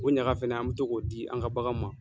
O ɲaga fɛnɛ an bɛ to k'o di an ka baganw ma.